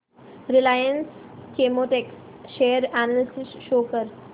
Reliance Chemotex share analysis show कर